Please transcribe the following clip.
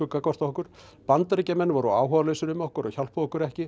gagnvart okkur Bandaríkjamenn voru áhugalausir um okkur og hjálpuðu okkur ekki